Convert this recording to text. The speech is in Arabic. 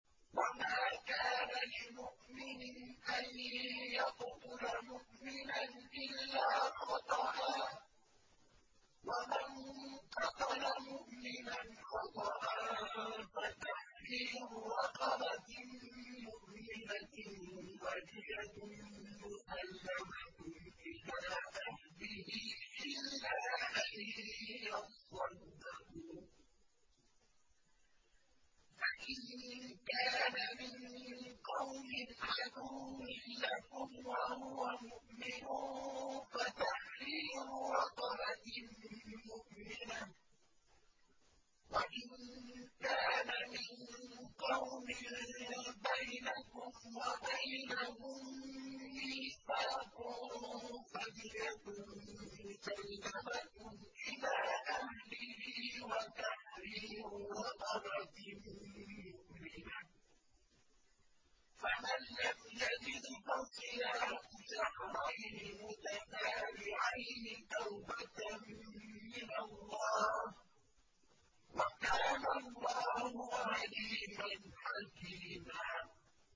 وَمَا كَانَ لِمُؤْمِنٍ أَن يَقْتُلَ مُؤْمِنًا إِلَّا خَطَأً ۚ وَمَن قَتَلَ مُؤْمِنًا خَطَأً فَتَحْرِيرُ رَقَبَةٍ مُّؤْمِنَةٍ وَدِيَةٌ مُّسَلَّمَةٌ إِلَىٰ أَهْلِهِ إِلَّا أَن يَصَّدَّقُوا ۚ فَإِن كَانَ مِن قَوْمٍ عَدُوٍّ لَّكُمْ وَهُوَ مُؤْمِنٌ فَتَحْرِيرُ رَقَبَةٍ مُّؤْمِنَةٍ ۖ وَإِن كَانَ مِن قَوْمٍ بَيْنَكُمْ وَبَيْنَهُم مِّيثَاقٌ فَدِيَةٌ مُّسَلَّمَةٌ إِلَىٰ أَهْلِهِ وَتَحْرِيرُ رَقَبَةٍ مُّؤْمِنَةٍ ۖ فَمَن لَّمْ يَجِدْ فَصِيَامُ شَهْرَيْنِ مُتَتَابِعَيْنِ تَوْبَةً مِّنَ اللَّهِ ۗ وَكَانَ اللَّهُ عَلِيمًا حَكِيمًا